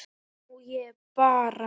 Nú ég bara.